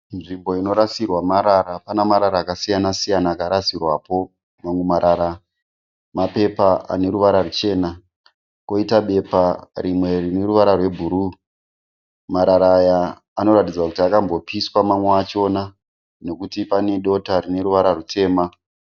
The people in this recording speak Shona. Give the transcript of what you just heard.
Nzvimbo inorasirwa marara. Pana marara akasiyana siyana akarasirwapo. Mamwe marara mapepa ane ruvara ruchena koita bepa rimwe rine ruvara rwebhuru. Marara aya anoratidza kuti akambopiswa mamwe acho nekuti pane dota rine ruvara rutema.